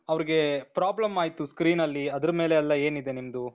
ಅವರಿಗೆ problem ಆಯ್ತು screenಅಲ್ಲಿ ಅದರ ಮೇಲೆಲ್ಲಾ ಏನಿದೆ ನಿಮ್ದು ?